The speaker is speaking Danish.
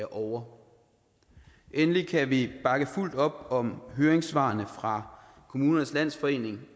ovre endelig kan vi bakke fuldt op om høringssvarene fra kommunernes landsforening